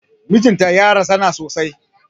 Mijin ta ya razana sosai.